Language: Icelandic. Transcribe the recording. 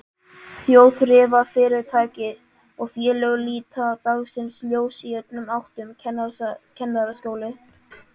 Þjóðþrifafyrirtæki og félög líta dagsins ljós í öllum áttum, Kennaraskólinn